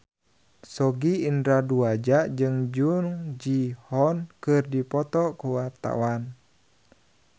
Sogi Indra Duaja jeung Jung Ji Hoon keur dipoto ku wartawan